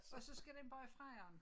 Og så skal den bare i fryeren